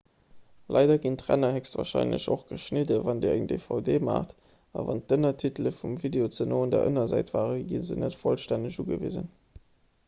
leider ginn d'ränner héchstwarscheinlech och geschnidden wann dir eng dvd maacht a wann d'ënnertitele vum video ze no un der ënnersäit waren gi se net vollstänneg ugewisen